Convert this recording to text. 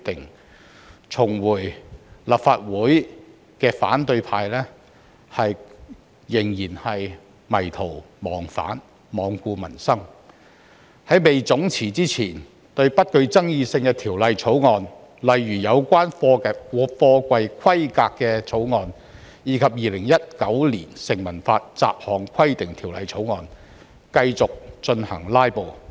然而，重返立法會的反對派仍迷途忘返，罔顧民生，在總辭前對不具爭議性的法案，例如有關貨櫃規格的法案及《2019年成文法條例草案》，繼續進行"拉布"。